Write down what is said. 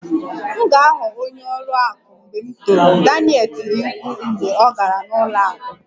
M ga-aghọ onye ọrụ akụ mgbe m toro, Daniel tiri mkpu mgbe ọ gara n'ụlọ akụ